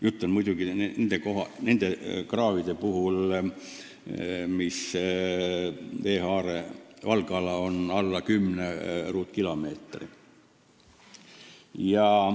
Jutt on muidugi nendest kraavidest, mis paiknevad kohas, kus veehaarde valgala on alla 10 ruutkilomeetri.